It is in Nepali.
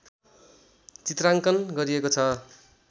चित्रांकन गरिएको छ